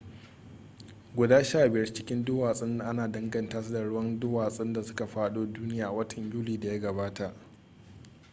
guda sha biyar cikin duwatsun ana danganta su da ruwan duwatsun da suka fado duniya a watan yuli da ya gabata